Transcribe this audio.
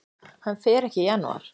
Hann fer ekki í janúar.